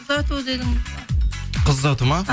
ұзату дедіңіз қыз ұзату ма